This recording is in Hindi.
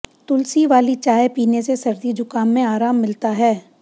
तुलसी वाली चाय पीने से सर्दी जुकाम में आराम मिलता है